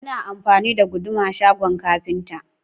Ana amfani da Guduma shagon kafinta.